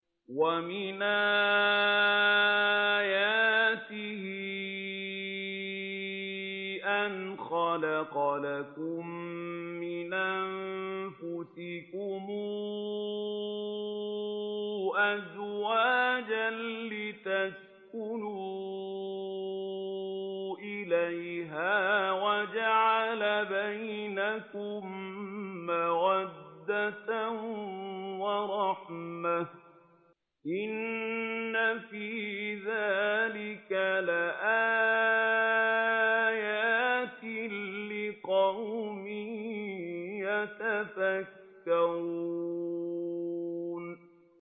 وَمِنْ آيَاتِهِ أَنْ خَلَقَ لَكُم مِّنْ أَنفُسِكُمْ أَزْوَاجًا لِّتَسْكُنُوا إِلَيْهَا وَجَعَلَ بَيْنَكُم مَّوَدَّةً وَرَحْمَةً ۚ إِنَّ فِي ذَٰلِكَ لَآيَاتٍ لِّقَوْمٍ يَتَفَكَّرُونَ